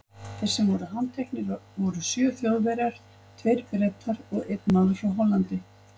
Þeir sem voru handteknir voru sjö Þjóðverjar, tveir Bretar og einn maður frá Hollandi.